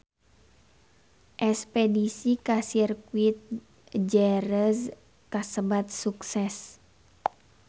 Espedisi ka Sirkuit Jerez kasebat sukses